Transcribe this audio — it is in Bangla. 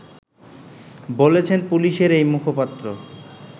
বলছেন পুলিশের এই মুখপাত্র